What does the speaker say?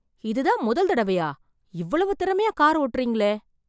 இதுதான் முதல் தடவையா? இவ்வளவு திறமையா கார் ஓட்டுறீங்களே